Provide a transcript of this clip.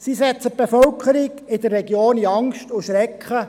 Sie versetzen die Bevölkerung in der Region in Angst und Schrecken.